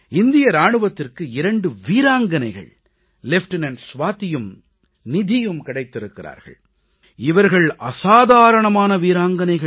இந்திய ராணுவத்திற்கு இரண்டு வீராங்கனைகள் லெஃப்டினன்ட் சுவாதியும் நிதியும் கிடைத்திருக்கிறார்கள் இவர்கள் அசாதாரணமான வீராங்கனைகள்